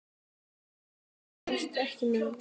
Ég stóðst ekki mátið